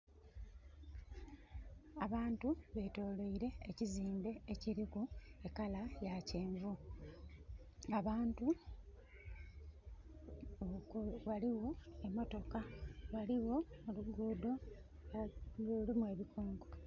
Abantu betoloire ekiziimbe ekiliku e colour ya kyenvu. Abantu...ghaligho emotoka, ghaligho oluguudo lulimu ebikonko.